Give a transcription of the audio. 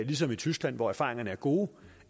ligesom i tyskland hvor erfaringerne er gode